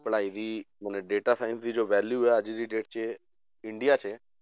ਪੜ੍ਹਾਈ ਦੀ ਹੁਣ data science ਦੀ ਜੋ value ਹੈ ਅੱਜ ਦੀ date 'ਚ ਇੰਡੀਆ 'ਚ